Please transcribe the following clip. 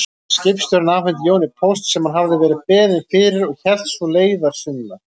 Skipstjórinn afhenti Jóni póst sem hann hafði verið beðinn fyrir og hélt svo leiðar sinnar.